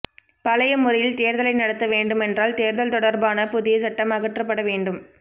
பழைய முறையில் தேர்தலை நடத்த வேண்டுமென்றால் தேர்தல் தொடர்பான புதிய சட்டம் அகற்றப்பட வேண்டும்